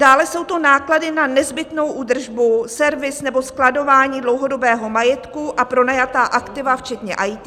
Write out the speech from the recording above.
Dále jsou to náklady na nezbytnou údržbu, servis nebo skladování dlouhodobého majetku a pronajatá aktiva, včetně IT.